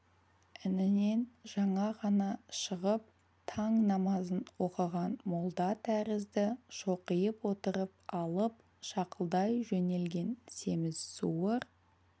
інінен жаңа ғана шығып таң намазын оқыған молда тәрізді шоқиып отырып алып шақылдай жөнелген семіз суыр